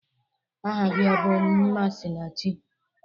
Aha gi ọ bụ Mmasinachi?